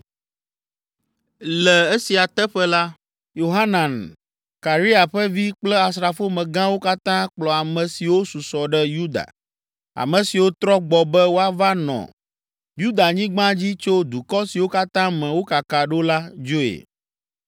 Le esia teƒe la, Yohanan, Karea ƒe vi kple asrafomegãwo katã kplɔ ame siwo susɔ ɖe Yuda, ame siwo trɔ gbɔ be woava nɔ Yudanyigba dzi tso dukɔ siwo katã me wokaka ɖo la dzoe.